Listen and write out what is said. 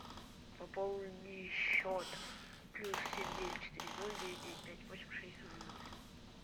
пополни счет плюс семь девять четыре ноль девять девять пять восемь шесть ноль ноль